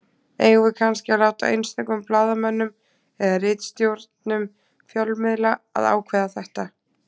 Eigum við kannski að láta einstökum blaðamönnum eða ritstjórnum fjölmiðla að ákveða þetta?